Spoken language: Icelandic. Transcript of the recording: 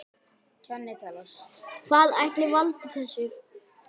Hvað ætli valdi þessu?